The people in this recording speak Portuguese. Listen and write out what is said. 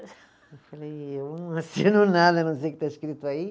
Eu falei, eu não assino nada, não sei o que está escrito aí.